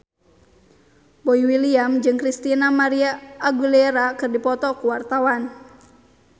Boy William jeung Christina María Aguilera keur dipoto ku wartawan